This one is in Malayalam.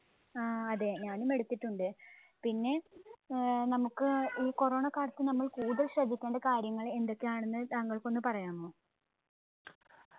ആ അതെ ഞാനും എടുത്തിട്ടുണ്ട്. പിന്നെ ഏർ നമ്മുക്ക് ഈ corona കാലത്ത് നമ്മൾ കൂടുതൽ ശ്രദ്ധിക്കേണ്ട കാര്യങ്ങൾ എന്തൊക്കെ ആണെന്ന് താങ്കൾക്കൊന്ന് പറയാമോ